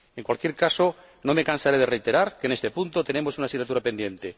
En cualquier caso, no me cansaré de reiterar que, en este punto, tenemos una asignatura pendiente.